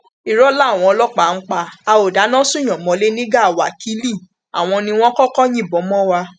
irọ làwọn ọlọpàá ń pa á ó dáná sunùnyàn mọlẹ ní gàá wákilì àwọn ni wọn kọkọ yìnbọn mọ wa